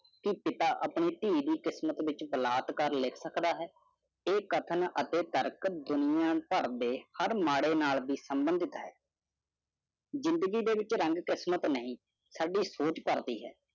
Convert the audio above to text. ਕਿ ਪਿਤਾ ਆਪਣੀ ਤੀ ਦੀ ਕਿਸਮਤ ਵਿਚ ਬਲਾਤਕਾਰ ਲਿਖ ਸਕਦਾ ਹੈ ਇਹ ਕਥਨ ਅਤੇ ਤਰਕ ਦੁਨੀਆਂ ਪਾਰ ਦੇ ਹਰ ਮਾੜੇ ਨਾਲ ਵੀ ਸੰਬੰਧਿਤ ਹੈ ਜਿੰਦਗੀ ਦੇ ਵਿਚ ਰੰਗ ਕਿਸਮਤ ਨਹੀਂ ਸਾਡੀ ਸੋਚ ਪ੍ਰਦੀ ਹੈ